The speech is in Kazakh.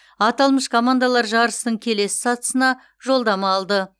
аталмыш командалар жарыстың келесі сатысына жолдама алды